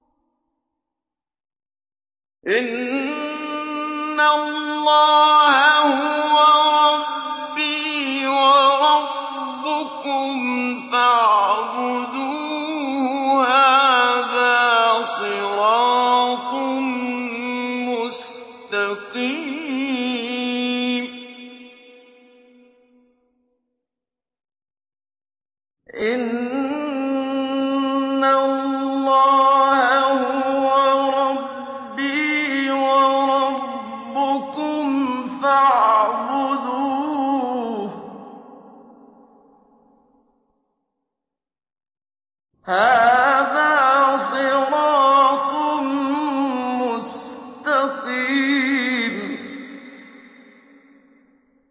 إِنَّ اللَّهَ هُوَ رَبِّي وَرَبُّكُمْ فَاعْبُدُوهُ ۚ هَٰذَا صِرَاطٌ مُّسْتَقِيمٌ